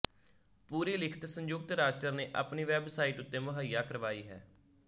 ਪੂਰੀ ਲਿਖਤ ਸੰਯੁਕਤ ਰਾਸ਼ਟਰ ਨੇ ਆਪਣੀ ਵੈੱਬਸਾਈਟ ਉੱਤੇ ਮੁਹਈਆ ਕਰਵਾਈ ਹੈ